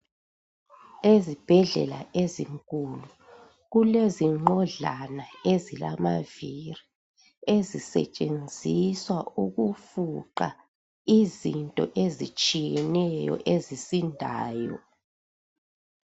Ezibhedlela ezinkulu, kulezinqodlana ezilamaviri ezisetshenziswa ukufuqa izinto ezitshiyeneyo ezisindayo.